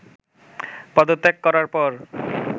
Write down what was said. পদত্যাগ করার পর